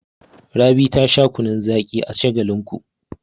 Rabi ta sha kunnun zaƙi a Shagalinku.